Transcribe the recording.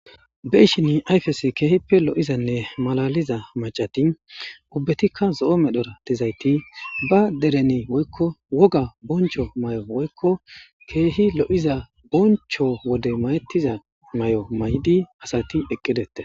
Beyishi ayifezani ehipe loyizane malaliza maccati nayiti ubatika zoo medhetizayiti ba dereni woyiko wogga binicho mayo woyiko kehi loyiza bonicho wode mayetiza mayo mayidi eqi detesi